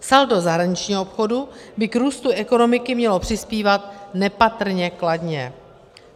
Saldo zahraničního obchodu by k růstu ekonomiky mělo přispívat nepatrně kladně.